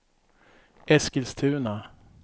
Eskilstuna